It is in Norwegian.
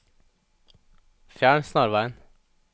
fjern snarveien